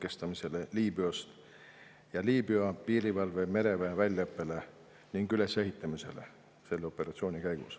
Ka selle operatsiooni käigus Liibüa piirivalve ja mereväe väljaõpet ning ülesehitamist.